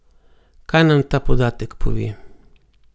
Kaj nam ta podatek pove?